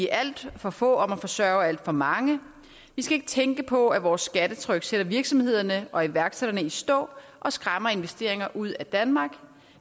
er alt for få om at forsørge alt for mange vi skal ikke tænke på at vores skattetryk sætter virksomhederne og iværksætterne i stå og skræmmer investeringer ud af danmark